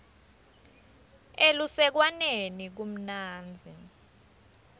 elusekwaneni kumnandzi